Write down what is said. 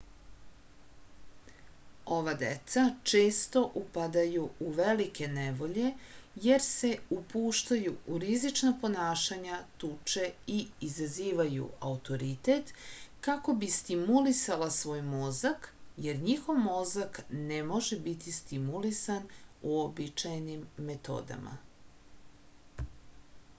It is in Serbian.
ova deca često upadaju u velike nevolje jer se upuštaju u rizična ponašanja tuče i izazivaju autoritet kako bi stimulisala svoj mozak jer njihov mozak ne može biti stimulisan uobičajenim metodama